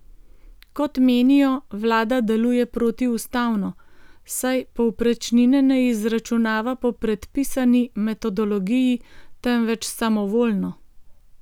Kot menijo, vlada deluje protiustavno, saj povprečnine ne izračunava po predpisani metodologiji, temveč samovoljno.